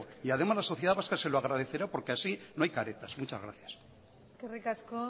y además la sociedad vasca se lo agradecerá porque así no hay caretas muchas gracias eskerrik asko